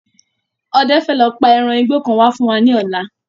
Ọdẹ fẹ lọ pa eran igbó kan wá fún wa ní ọ̀la